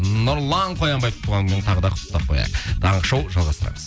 нұрлан қоянбаевты туған күнімен тағы да құттықтап қояйық таңғы шоу жалғастырамыз